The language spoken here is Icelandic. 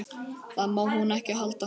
Það má hún ekki halda.